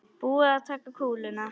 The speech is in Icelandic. Er búið að taka kúluna?